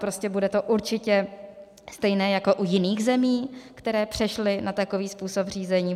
Prostě bude to určitě stejné jako u jiných zemí, které přešly na takový způsob řízení.